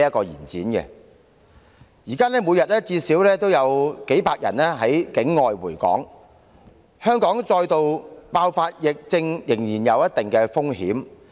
現時每天最少有數百人從境外回港，香港仍有再度爆發疫症的一定風險。